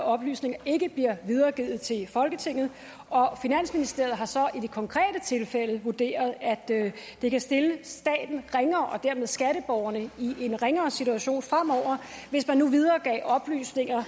oplysninger ikke bliver videregivet til folketinget finansministeriet har så i det konkrete tilfælde vurderet at det det kan stille staten ringere og dermed skatteborgerne i en ringere situation fremover hvis man nu videregav oplysninger